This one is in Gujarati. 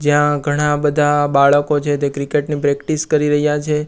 જ્યાં ઘણા બધા બાળકો છે તે ક્રિકેટ ની પ્રેક્ટિસ કરી રહ્યા છે.